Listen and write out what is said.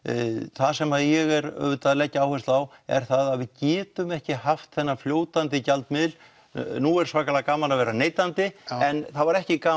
það sem ég er auðvitað að leggja áherslu á er það að við getum ekki haft þennan fljótandi gjaldmiðil nú er svakalega gaman að vera neytandi en það var ekki gaman